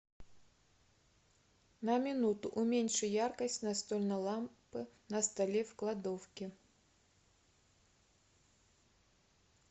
на минуту уменьши яркость настольной лампы на столе в кладовке